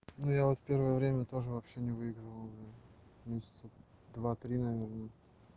ну я вот в первое время тоже вообще не выигрывал месяца два три наверное